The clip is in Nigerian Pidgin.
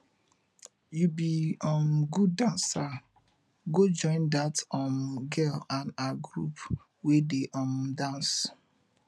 you be um good dancer go join dat um girl and her group wey dey um dance